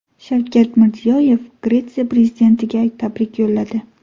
Shavkat Mirziyoyev Gretsiya prezidentiga tabrik yo‘lladi.